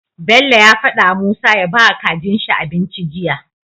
Bello faɗa wa musa ya bawa kajin shi abinci jiya